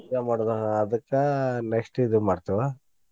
ಏನ್ ಮಾಡೋದಾ ಅದಕ್ಕ next ಇದ್ ಮಾಡ್ತೇವ.